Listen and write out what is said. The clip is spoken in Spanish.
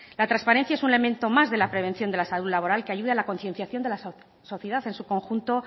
la transparencia es un elemento más de la prevención de la salud laboral que ayuda a la concienciación de la sociedad en su conjunto